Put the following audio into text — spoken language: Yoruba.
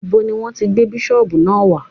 Ibo ni Wọ́n ti gbé bísọ̀bù náà wá?